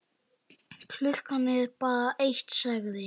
Klukkan er bara eitt, sagði